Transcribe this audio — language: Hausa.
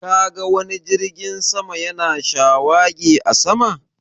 Ka ga wani jirgin sama ya na shawagi a sama?